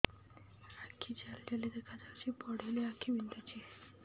ଆଖି ଜାଲି ଜାଲି ଦେଖାଯାଉଛି ପଢିଲେ ଆଖି ବିନ୍ଧୁଛି